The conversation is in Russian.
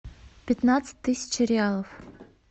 пятнадцать тысяч реалов